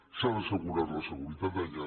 s’ha d’assegurar la seguretat d’allà